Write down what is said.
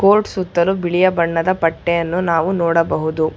Court ಸುತ್ತಲು ಬಿಳಿಯ ಬಣ್ಣದ ಪಟ್ಟಿಯನ್ನು ನೋಡಬಹುದು.